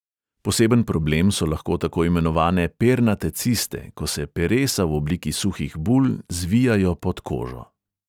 Poseben problem so lahko tako imenovane pernate ciste, ko se peresa v obliki suhih bul zvijajo pod kožo.